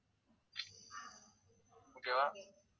okay வா